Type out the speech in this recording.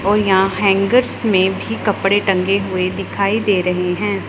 ओह यह हैंगर्स में भी कपड़े टंगे हुएं दिखाई दे रहें हैं।